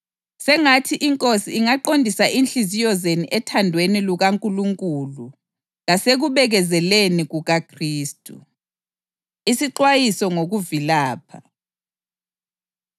Sengathi iNkosi ingaqondisa inhliziyo zenu ethandweni lukaNkulunkulu lasekubekezeleni kukaKhristu. Isixwayiso Ngokuvilapha